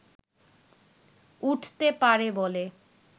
উঠতে পারে বলে